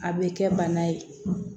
A bɛ kɛ bana ye